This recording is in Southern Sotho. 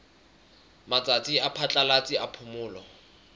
matsatsi a phatlalatsa a phomolo